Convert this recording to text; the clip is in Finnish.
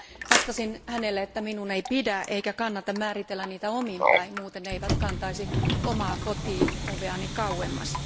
Vastasin hänelle, että minun ei pidä eikä kannata määritellä niitä omin päin, muuten ne eivät kantaisi omaa kotioveani kauemmas.